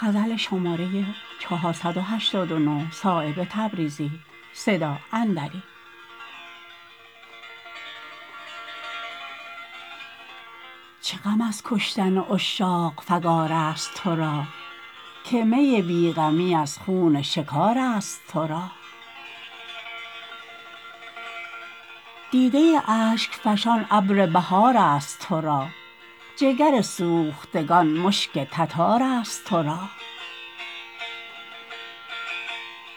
چه غم از کشتن عشاق فگارست ترا که می بی غمی از خون شکارست ترا دیده اشک فشان ابر بهارست ترا جگر سوختگان مشک تتارست ترا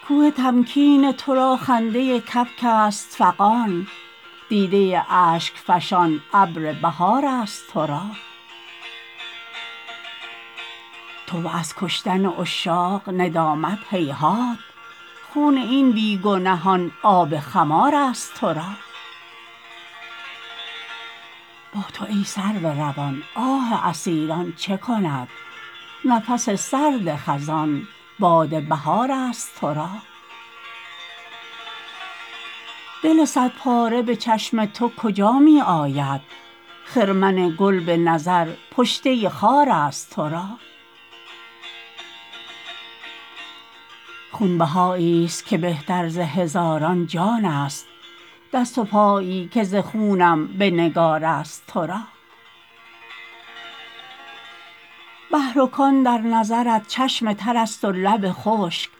کوه تمکین ترا خنده کبک است فغان دیده اشک فشان ابر بهارست ترا تو و از کشتن عشاق ندامت هیهات خون این بی گنهان آب خمارست ترا با تو ای سرو روان آه اسیران چه کند نفس سرد خزان باد بهارست ترا دل صد پاره به چشم تو کجا می آید خرمن گل به نظر پشته خارست ترا خونبهایی است که بهتر ز هزاران جان است دست و پایی که ز خونم به نگارست ترا بحر و کان در نظرت چشم ترست و لب خشک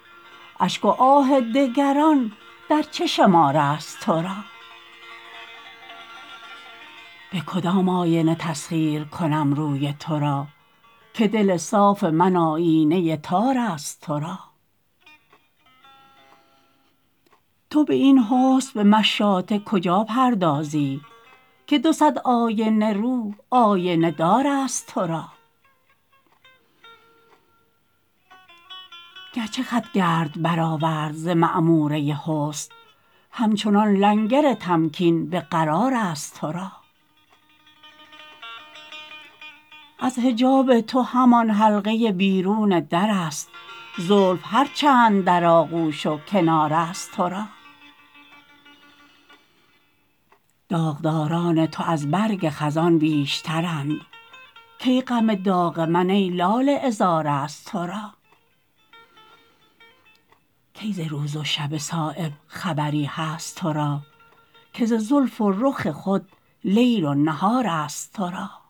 اشک و آه دگران در چه شمارست ترا به کدام آینه تسخیر کنم روی ترا که دل صاف من آیینه تارست ترا تو به این حسن به مشاطه کجاپردازی که دو صد آینه رو آینه دارست ترا گرچه خط گرد برآورد ز معموره حسن همچنان لنگر تمکین به قرارست ترا از حجاب تو همان حلقه بیرون درست زلف هر چند در آغوش و کنارست ترا داغداران تو از برگ خزان بیشترند کی غم داغ من ای لاله عذارست ترا کی ز روز و شب صایب خبری هست ترا که ز زلف و رخ خود لیل و نهارست ترا